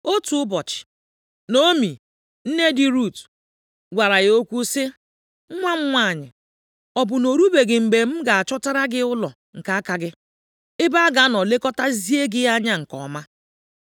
Otu ụbọchị, Naomi, nne di Rut, gwara ya okwu sị, “Nwa m nwanyị, ọ bụ na o rubeghị mgbe m ga-achọtara gị ụlọ nke aka gị, ebe a ga-anọ lekọtazie gị anya nke ọma?